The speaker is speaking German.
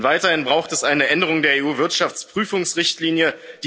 Weiterhin braucht es eine Änderung der EU Wirtschaftsprüfungsrichtlinie.